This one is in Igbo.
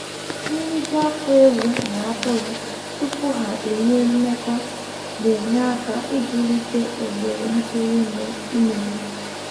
Nriju afọ ewu na atụrụ tupu ha enwee mmekọr na-enye aka ibulite ohere ntụrụ ime ime ha